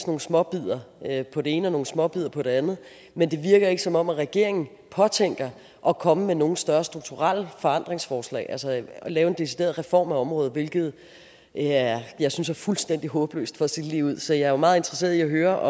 nogle småbidder på det ene og nogle småbidder på det andet men det virker ikke som om regeringen påtænker at komme med nogle større strukturelle forandringsforslag altså at lave en decideret reform af området hvilket jeg jeg synes er fuldstændig håbløst for at sige det ligeud så jeg er meget interesseret i at høre